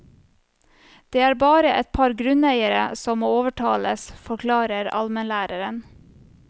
Det er bare et par grunneiere som må overtales, forklarer almenlæreren.